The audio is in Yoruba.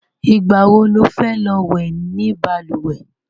Ìgbà wo lo fẹ́ lọ wẹ̀ ni balùwẹ̀?